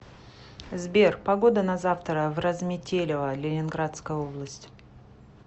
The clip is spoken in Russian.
сбер погода на завтра в разметелево ленинградская область